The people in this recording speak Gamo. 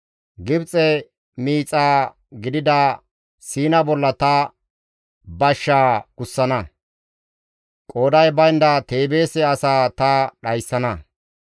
Gibxes miixa gidida Siina bolla ta bashshaa gussana; qooday baynda Teebeese asaa ta dhayssana.